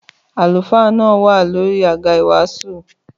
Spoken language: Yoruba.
Àlùfáà náà wa ní orí àga ìwàásù